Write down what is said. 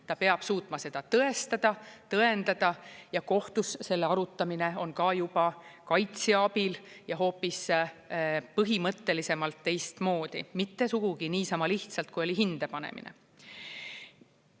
Ta peab suutma seda tõestada, tõendada ja kohtus selle arutamine on ka juba kaitsja abil ja hoopis põhimõttelisemalt teistmoodi, mitte sugugi niisama lihtsalt kui oli hinde panemine.